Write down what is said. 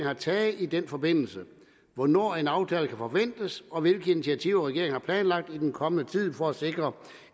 har taget i den forbindelse hvornår en aftale kan forventes og hvilke initiativer regeringen har planlagt i den kommende tid for at sikre